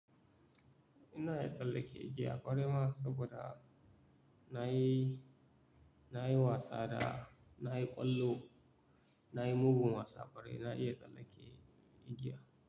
Ina iya tsallake igiya ƙwarai ma saboda na yi, na yi wasa da, na yi ƙwallo, na yi mugun wasa ƙwarai na iya tsallake igiya.